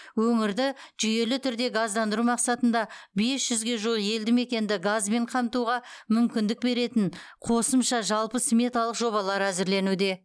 өңірді жүйелі түрде газдандыру мақсатында бес жүзге жуық елді мекенді газбен қамтуға мүмкіндік беретін қосымша жалпы сметалық жобалар әзірленуде